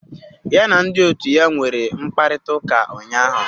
Ya na ndị otu ya nwere mkparịta ụka ụnyahụ